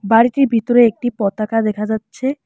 বাড়িটির ভিতরে একটি পতাকা দেখা যাচ্ছে।